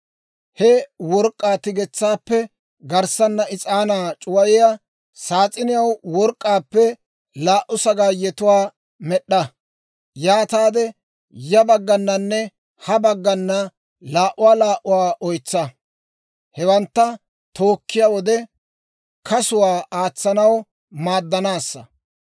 He work'k'aa tigetsaappe garssanna is'aanaa c'uwayiyaa saas'iniyaw work'k'aappe laa"u sagaayetuwaa med'd'a; yaataade ya baggananne ha baggana laa"uwaa laa"uwaa oytsa. Hewantta tookkiyaa wode kasuwaa aatsanaw maaddanaassa.